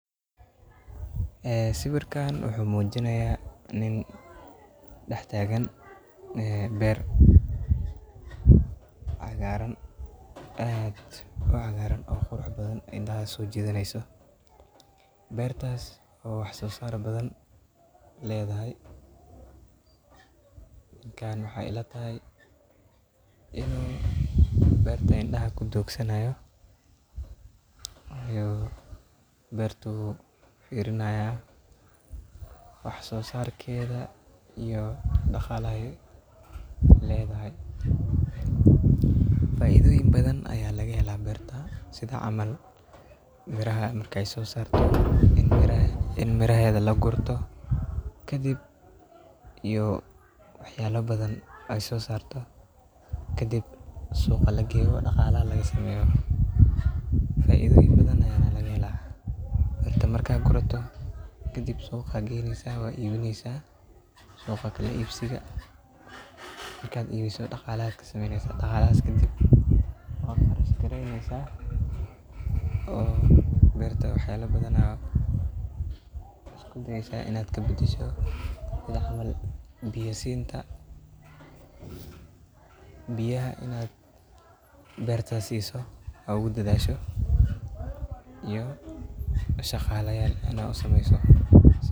Sawirkan wuxu muinaya nin dhex tagan ber cagaran oo aad u qurux badan oo indhaha sojidhaneso bertas oo wax soo sar badan ledahay ,marka waxey ilatahay dadka indhaha kudogsanaya oo bertoda firinayan wax sosarkeda iyo dhaqalaha ay ledahay. Faidoyin badan baa lagahela berta sidha camal miraha markey soo sarto ini miraheda lagurto kadib suqa lageyo dhaqalaha lagasameyo . Inta marka gurato kadib suqa aa geynesa ,suqa kala ibsiga oo dhaqalaha oo berta waxyala badan aa u dayesa sidha biya siin oo biyaha berta siso oo ugu dadhasho iyo shaqalayal inaad u sameso,